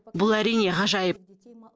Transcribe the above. бұл әрине ғажайып